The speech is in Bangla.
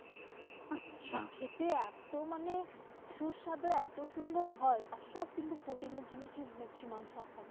খেতে এত মানে সুসবাধু মানে এত সুন্দর হয় সবকিছু protein এর জিনিসই maximu থাকে।